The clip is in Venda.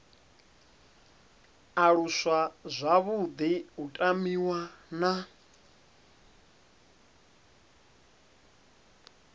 aluswa zwavhuḓi u tamiwa na